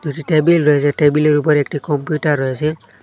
একটি টেবিল রয়েসে টেবিলের উপরে একটি কম্পিউটার রয়েসে।